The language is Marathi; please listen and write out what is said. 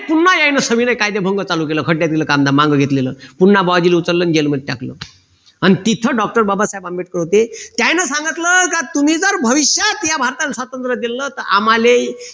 पुन्हा एकदा संविनय कायदेभंग चालू केल खड्यात गेलं काम धाम माघ घेतलेलं पुन्हा बुआजिले उचललं जेल मध्ये टाकलं अन तिथं doctor बाबासाहेब आंबेडकर होते त्यांनी सांगितलं का तुम्ही जर भविष्यात या भारताला स्वातंत्र दिल तर आम्हाले